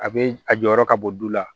A bɛ a jɔyɔrɔ ka bɔ du la